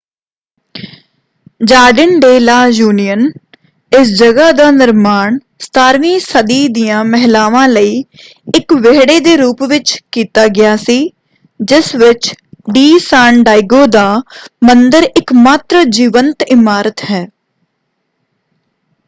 Jardin de la Union. ਇਸ ਜਗ੍ਹਾ ਦਾ ਨਿਰਮਾਣ 17ਵੀਂ ਸਦੀ ਦੀਆਂ ਮਹਿਲਾਵਾਂ ਲਈ ਇੱਕ ਵਿਹੜੇ ਦੇ ਰੂਪ ਵਿੱਚ ਕੀਤਾ ਗਿਆ ਸੀ ਜਿਸ ਵਿੱਚ ਡੀ ਸਾਨ ਡਾਇਗੋ ਦਾ ਮੰਦਿਰ ਇੱਕਮਾਤਰ ਜੀਵੰਤ ਇਮਾਰਤ ਹੈ।